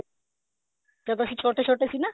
ਜਦੋਂ ਅਸੀਂ ਛੋਟੇ ਛੋਟੇ ਸੀ ਨਾ